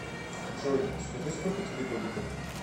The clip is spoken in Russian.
джой скажи сколько тебе годиков